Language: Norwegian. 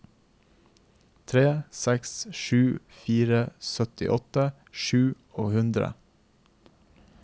tre seks sju fire syttiåtte sju hundre